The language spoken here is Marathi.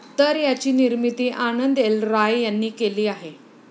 तर याची निर्मिती आनंद एल राय यांनी केली आहे.